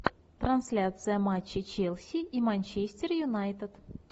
трансляция матча челси и манчестер юнайтед